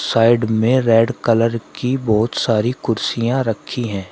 Side में red colour की बहुत सारी कुर्सियां रखी हैं।